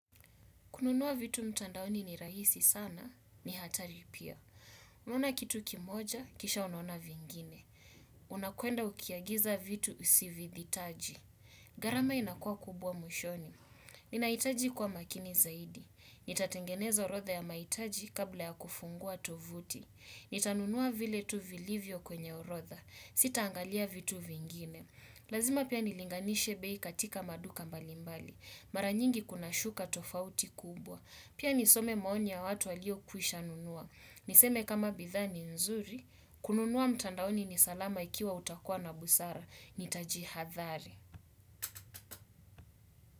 Kununua vitu mtandaoni ni rahisi sana, ni hatari pia. Unaona kitu kimoja, kisha unaona vingine. Unakwenda ukiagiza vitu usivihitaji. Gharama inakuwa kubwa mwishoni. Ninahitaji kuwa makini zaidi. Nitatengeneza orodha ya mahitaji kabla ya kufungua tovuti. Nitanunua vile tu vilivyo kwenye orodha. Sitaangalia vitu vingine. Lazima pia nilinganishe bei katika maduka mbalimbali. Mara nyingi kuna shuka tofauti kubwa. Pia nisome maoni ya watu waliokwishanunua. Niseme kama bidhaa ni nzuri, kununua mtandaoni ni salama ikiwa utakua na busara. Nitajihadhari.